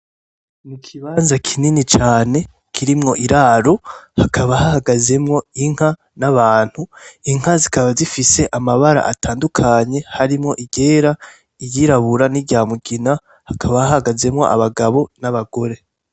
Ikibanza kinini cane kirimwo iraro hakaba hahagazemwo Inka nabantu , inka zikaba zifise amabara atandukanye harimwo iryera iryirabura, niryamugina hakaba hahagazemwo abagabo nabagore.